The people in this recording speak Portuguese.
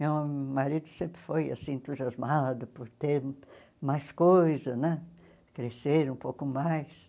Meu marido sempre foi assim entusiasmado por ter mais coisa né, crescer um pouco mais.